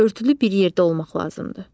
Örtülü bir yerdə olmaq lazımdır.